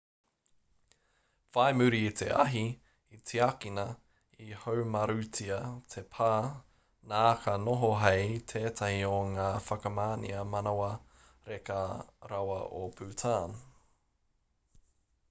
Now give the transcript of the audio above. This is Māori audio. whai muri i te ahi i tiakina i haumarutia te pā nā ka noho hei tētahi o ngā whakamanea manawa reka rawa o bhutan